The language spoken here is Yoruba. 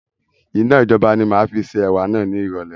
Iná ijọba ni máa fi ṣe ẹ̀wà náà ni irọ̀lẹ́